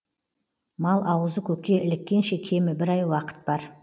мал ауызы көкке іліккенше кемі бір ай уақыт бар